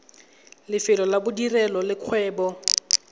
lefelo la bodirelo le kgwebo